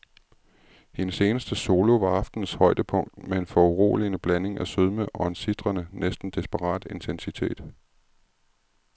Hendes eneste solo var aftenens højdepunkt med en foruroligende blanding af sødme og en sitrende, næsten desperat intensitet.